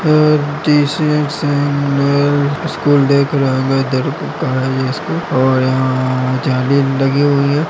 और स्कूल देख रहा है का है ये स्कूल और यहाँ जाली लगी हुई है।